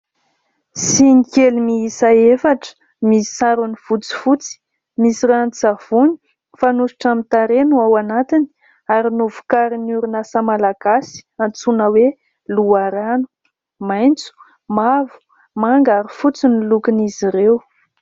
Siny kely miisa efatra misy sarony fotsifotsy, misy ranon-tsavony fanosotra amin'ny tarehy no ao anatiny ary novokarin'ny orinasa Malagasy antsoina hoe : Loharano. Maitso, mavo, manga ary fotsy ny lokon' izy ireo.